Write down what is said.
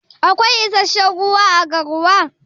Akwai issashen ruwa à garwa?